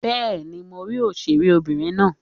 Bẹ́ẹ̀ni, mo rí òṣèré obìnrin náà.